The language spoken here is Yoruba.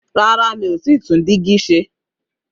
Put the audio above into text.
Rárá, mi ò tí tún dígí se.